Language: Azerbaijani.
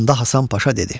Onda Hasan Paşa dedi: